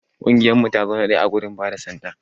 Kungiyar mu ta zo na daya ã gudun bada sanda.